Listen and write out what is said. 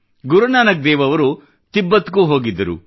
ಗುರುನಾನಕ್ ದೇವ್ ಅವರು ತಿಬ್ಬತ್ ಗೂ ಹೋಗಿದ್ದರು